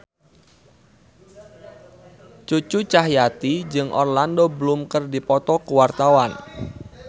Cucu Cahyati jeung Orlando Bloom keur dipoto ku wartawan